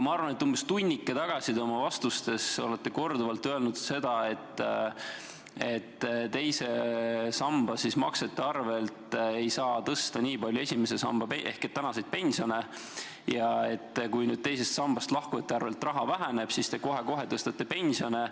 Aga umbes tunnike tagasi te ütlesite oma vastustes korduvalt, et teise samba maksete tõttu ei saa eriti tõsta esimesest sambast makstavaid tänaseid pensione ja et kui nüüd tänu teisest sambast lahkujatele see raha väheneb, siis te kohe-kohe tõstate pensione.